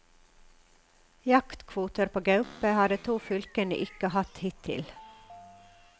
Jaktkvoter på gaupe har de to fylkene ikke hatt hittil.